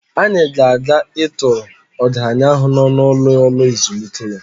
Anyị ga-aga ịtọọrọ ọgaranya ahụ n'ọnụ ụlọ ụlo ezumike ya.